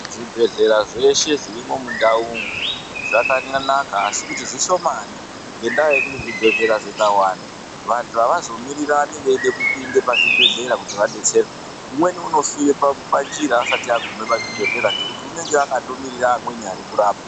Zvibhedhlera zveshe zvirimo mundau umu zvakanyanaka asi kuti zvishomani ngendaa yekuti zvibhedhlera zvikawanda vantu avazomirirani veyida kupinda pazvibhedhlera kuti vadetserwe umweni unofira panjira asati agume pazvibhedhlera ngekuti unenge akandomirira vamweni vari kurapwa.